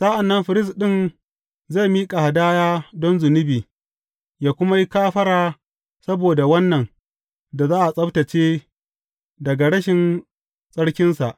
Sa’an nan firist ɗin zai miƙa hadaya don zunubi ya kuma yi kafara saboda wannan da za a tsabtacce daga rashin tsarkinsa.